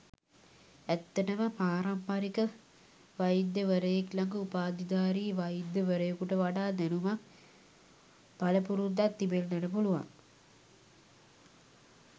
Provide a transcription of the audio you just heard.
ඇත්තටම පාරම්පරික වෛද්‍ය වරයෙක් ළඟ උපාධිධාරී වෛද්‍ය වරයෙකුට වඩා දැනුමක් පළපුරුද්දක් තිබෙන්නට පුළුවන්.